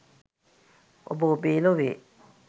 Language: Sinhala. ඔබ ඔබේ ලොවේ!